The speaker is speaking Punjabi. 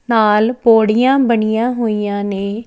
ਨਾਲ ਪੌੜੀਆਂ ਬਣੀਆਂ ਹੋਈਆਂ ਨੇ --